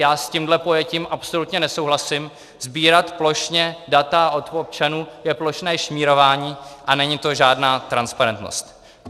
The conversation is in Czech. Já s tímto pojetím absolutně nesouhlasím, sbírat plošně data od občanů je plošné šmírování a není to žádná transparentnost.